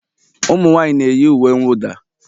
Ụmụnwaanyị na-eyi uwe mwụda?